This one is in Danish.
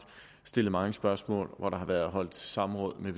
stillet mange spørgsmål der har været holdt samråd